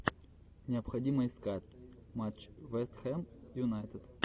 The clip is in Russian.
необходимо искать матч вест хэм юнайтед